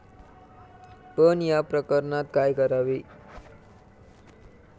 पण या प्रकरणात काय करावे?